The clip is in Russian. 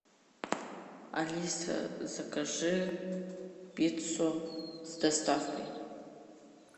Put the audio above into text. алиса закажи пиццу с доставкой